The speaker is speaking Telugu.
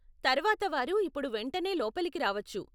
తర్వాత వారు ఇప్పుడు వెంటనే లోపలికి రావచ్చు.